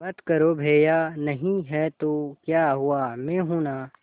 मत करो भैया नहीं हैं तो क्या हुआ मैं हूं ना